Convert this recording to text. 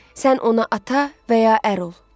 Sən ona ata və ya ər ol.